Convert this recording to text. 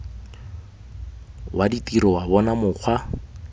wa ditiro wa bona mokgwa